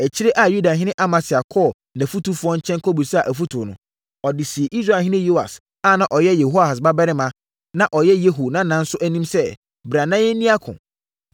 Akyire a Yudahene Amasia kɔɔ nʼafotufoɔ nkyɛn kɔbisaa afotuo no, ɔde sii Israelhene Yoas a na ɔyɛ Yehoahas babarima, na ɔyɛ Yehu nana nso anim sɛ, “Bra na yɛnni ako.”